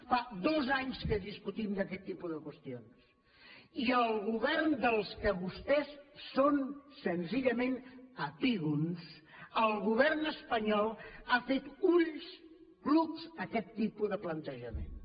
fa dos anys que discutim d’aquest tipus de qüestions i el govern del qual vostès són senzillament epígons el govern espanyol ha fet ulls clucs a aquest tipus de plantejaments